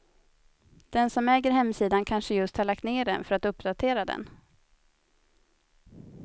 Den som äger hemsidan kanske just har lagt ner den för att uppdatera den.